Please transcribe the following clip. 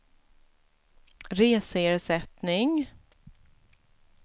reseersättning